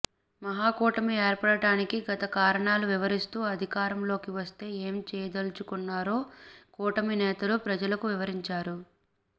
మహాకూటమి ఏర్పడటానికి గత కారణాలు వివరిస్తూ అధికారంలోకి వస్తే ఏం చేయలదల్చుకున్నారో కూటమి నేతలు ప్రజలకు వివరించారు